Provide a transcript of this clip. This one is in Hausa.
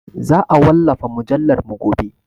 Za a wallafa mujallarmu gobe.